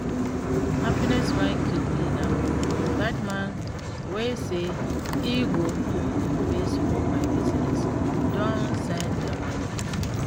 Happiness wan kill me now. That man wey say e go invest for my business don send the money